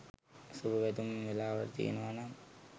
සුබ පැතුම් වෙලාව තියෙනවනම්